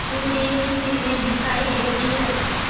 सूर्य की किरणें दिखाई देती हैं